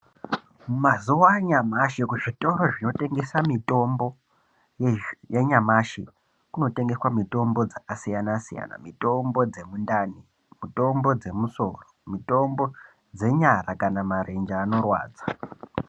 Mazuwa anyamashi kuzvitoro zvinotengesa mitombo yanyamashi kunotengeswa mitombo dzakasiyana siyana mitombo dzemundani mitombo dzemusoro mitombo dzenyara kana marenje anorwadza.